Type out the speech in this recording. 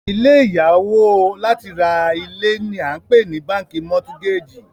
ilé ìya owo láti ra ilé ni a npe ni bánkì mortgage